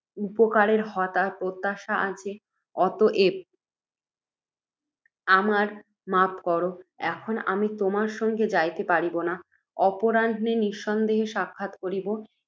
উপকারের প্রত্যাশা আছে। অতএব আমায় মাপ কর, এখন আমি তোমার সঙ্গে যাইতে পারিব না, অপরাহ্নে নিঃসন্দেহ সাক্ষাৎ করিব